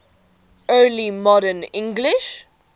early modern english